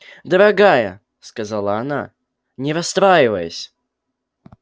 дорогая сказала она не расстраивайся